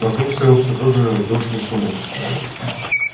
вокруг стоял все тот же душный сумрак